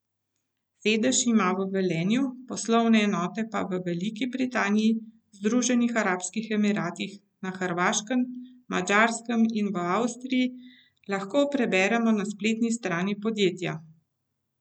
Sedež ima v Velenju, poslovne enote pa v Veliki Britaniji, Združenih arabskih emiratih, na Hrvaškem, Madžarskem in v Avstriji, lahko preberemo na spletni strani podjetij.